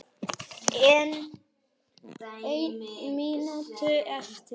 Ein mínúta eftir.